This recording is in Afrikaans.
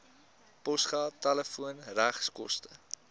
posgeld telefoon regskoste